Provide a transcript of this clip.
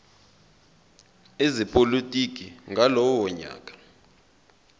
ezepolitiki ngalowo nyaka